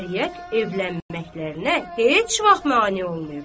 Şəriət evlənməkərinə heç vaxt mane olmayıbdır.